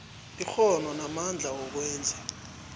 ikghono namandla wokwenza